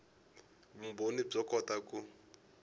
vumbhoni byo kota ku